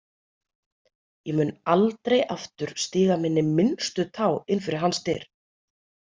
Ég mun aldrei aftur stíga minni minnstu tá inn fyrir hans dyr.